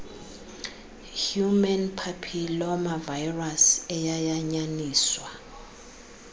human papillomavirus eyayanyaniswa